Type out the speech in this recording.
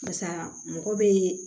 Barisa mɔgɔ be